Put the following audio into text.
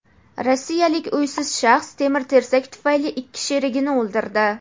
Rossiyalik uysiz shaxs temir-tersak tufayli ikki sherigini o‘ldirdi.